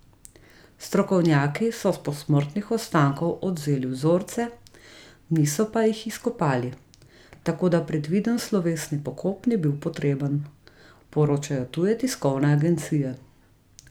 Strokovnjaki so s posmrtnih ostankov odvzeli vzorce, niso pa jih izkopali, tako da predviden slovesni pokop ni bil potreben, poročajo tuje tiskovne agencije.